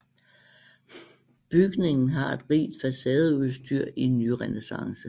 Bygningen har et rigt facadeudstyr i nyrenæssance